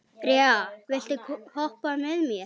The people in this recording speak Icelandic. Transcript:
Rea, viltu hoppa með mér?